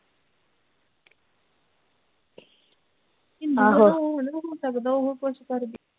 ਇੱਝ ਉਹ ਵੀ ਨਹੀਂ ਸਕਦਾ ਉਹ ਕੁਝ ਕਰਦੀ।